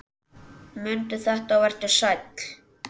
Mundu þetta og vertu sæll!